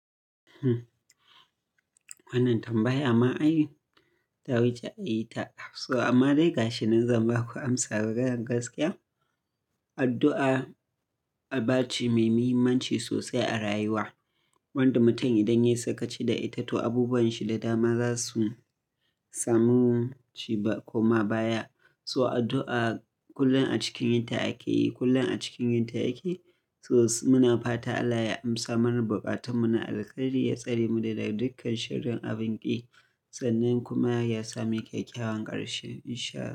Wannan tambaya ma anyi ta wuce a yi ta. So amma dai gashi, zan ba ku amsa da gangan gaskiya. Addu'a aba ce mai muhimmanci sosai a rayuwa. Wanda mutum idan ya sakaci da ita, to abubuwan shi da dama za su samu ci ba koma baya. So addu'a kullum a cikin yinta ake yi, kullum a cikin yinta ake. So muna fata Allah ya amsa mana buƙatanmu na alheri, ya tsare mu daga dukkan shirin abun ƙi, sannan kuma ya sami kyakkyawan ƙarshe in sha Allah.